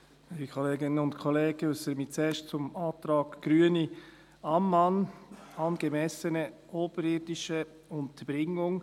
Ich äussere mich zuerst zum Antrag Grüne/Ammann: angemessene oberirdische Unterbringung.